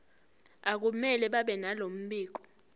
akumele babenalo mbiko